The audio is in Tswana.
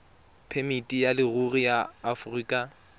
phemiti ya leruri ya aforika